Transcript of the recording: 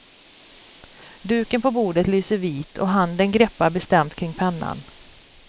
Duken på bordet lyser vit och handen greppar bestämt kring pennan.